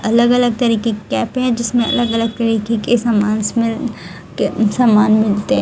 अलग अलग तरीके के कैप हैं जिसमें अलग अलग तरीके के सामानस मिल के सामान मिलते--